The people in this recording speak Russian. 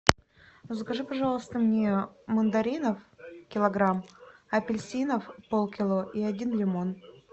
закажи пожалуйста мне мандаринов килограмм апельсинов полкило и один лимон